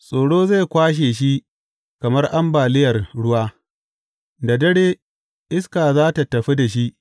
Tsoro zai kwashe shi kamar ambaliyar ruwa; Da dare iska za tă tafi da shi.